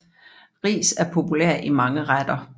Ris er populær i mange retter